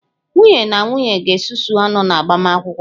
Nwunye na nwunye ga-esusu ọnụ na agbamakwụkwọ.